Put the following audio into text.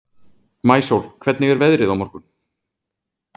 Maísól, hvernig er veðrið á morgun?